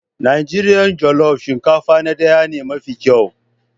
Najeriya jollof shinkafa na daya ne mafi kyau.